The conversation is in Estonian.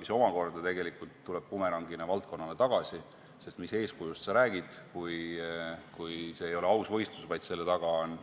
See aga tuleb tegelikult bumerangina valdkonnale tagasi, sest mis eeskujust sa räägid, kui see ei ole aus võistlus, vaid selle taga on